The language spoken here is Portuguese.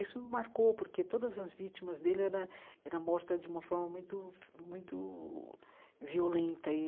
Isso me marcou, porque todas as vítimas dele era era morta de uma forma muito muito violenta e.